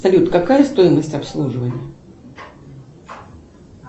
салют какая стоимость обслуживания